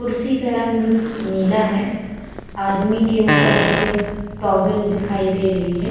कुर्सी का रंग नीला है। आदमी के ऊपर एक टॉवल दिखाई दे रही है।